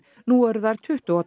nú eru þær tuttugu og